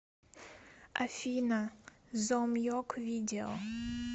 афина зом йок видео